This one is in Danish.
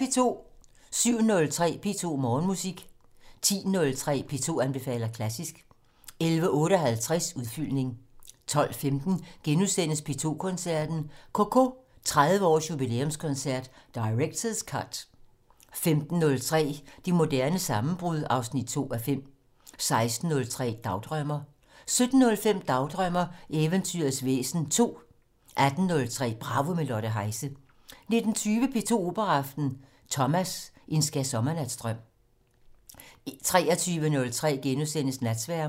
07:03: P2 Morgenmusik 10:03: P2 anbefaler klassisk 11:58: Udfyldning 12:15: P2 Koncerten - CoCo 30 års jubilæumskoncert - Directors Cut * 15:03: Det moderne sammenbrud 2:5 16:03: Dagdrømmer 17:05: Dagdrømmer: Eventyrets væsen 2 18:03: Bravo - med Lotte Heise 19:20: P2 Operaaften - Thomas: En skærsommernatsdrøm 23:03: Natsværmeren *